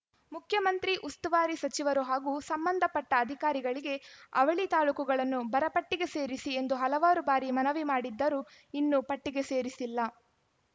ಮುಖ್ಯಮಂತ್ರಿ ಉಸ್ತುವಾರಿ ಸಚಿವರು ಹಾಗೂ ಸಂಬಂಧಪಟ್ಟಅಧಿಕಾರಿಗಳಿಗೆ ಅವಳಿ ತಾಲೂಕುಗಳನ್ನು ಬರಪಟ್ಟಿಗೆ ಸೇರಿಸಿ ಎಂದು ಹಲವಾರು ಬಾರಿ ಮನವಿ ಮಾಡಿದ್ದರೂ ಇನ್ನು ಪಟ್ಟಿಗೆ ಸೇರಿಸಿಲ್ಲ